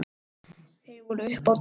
Þeir voru uppi á devon.